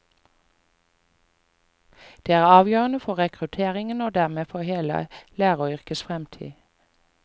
Det er avgjørende for rekrutteringen og dermed for hele læreryrkets fremtid.